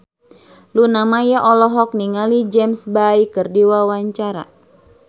Luna Maya olohok ningali James Bay keur diwawancara